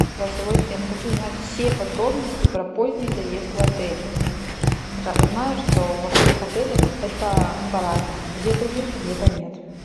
голосовой ассистент хочу узнать все подробности про поздний заезд в отеле знаю что во всех отелях это по разному где то есть где то нет